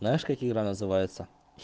знаешь как игра называется